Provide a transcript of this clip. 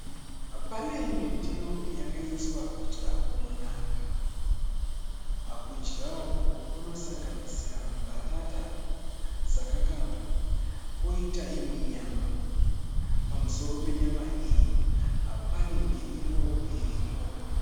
Pane imwe ndiro yakaiswa kudya kunonaka, kudya uku kunosanganisira mbatata dzakakangwa. Poita imwe nyama, pamusoro penyama iyi pane mirivo iripo.